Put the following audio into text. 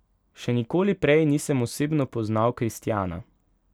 Še nikoli prej nisem osebno poznal kristjana.